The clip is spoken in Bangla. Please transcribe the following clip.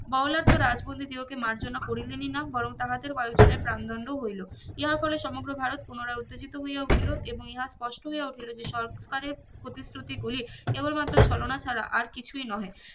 বড় লাট তো রাজবন্ধি দিগোকে মর্জোনা করিলেনি না বরং তাহাদের কয়েকজনের প্রান দন্দো হইলো ইহা ফলে সমগ্র ভারত পুনরায় উত্তেজিতো হইয়া উঠিলো এবং ইহা পোষ্ট হইয়া উঠিলো যে সরকারের প্রতিশ্রুতি গুলি কেবলমাত্র ছ্লনা ছারা আর কিচুই নহে